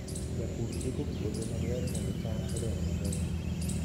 Japur iko puodho maber mondo cham odong maber.